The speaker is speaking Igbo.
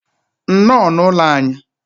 nnọọ n'ụlọ anyị.